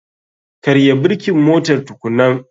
Karya birkin motar tukunan.